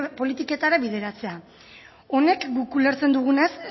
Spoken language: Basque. politiketara bideratzea honek guk ulertzen dugunez